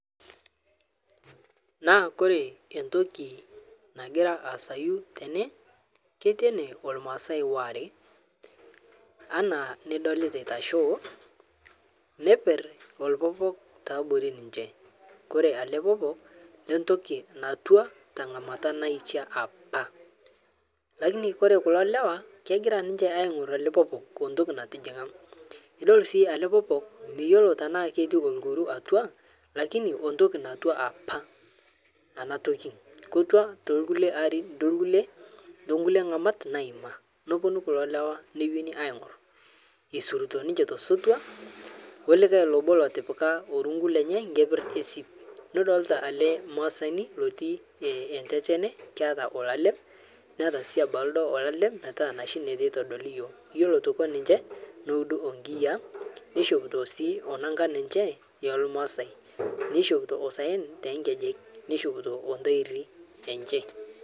Ore entoki nagiraa asaa tene naa ketii ene irmaasai are ena enidolita eitashe ore kulo lewa egira aing'or oupee obo entoki natijinga ore sii ele popok miyiolo ena ketii irkurt atua lakini entoki natua apa enatoki atua too nkulie ng'amat naayima nepuonu kulo lewa enewueji aing'or eisurito osotua edolita obo otipika orungu lenye enkeper esimu nidolita ele maasani otii tatene Ajo keeta olalem Neeta sii ore sii aitoki neudi enkiyia nishopito aitoki Kuna nangan enye ormaasai nishopito esaen too nkejek nishopito ntairi enye